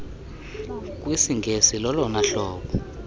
kwisingesi lolona hlobo